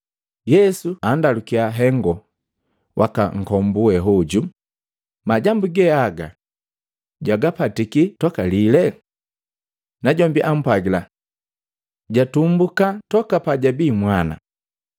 Yesu andalukiya hengo waka nkombu we oju, “Majambu ge aga jwagapatiki tokalile?” Najombi ampwagila. Jatumbuka toka pajabii mwana.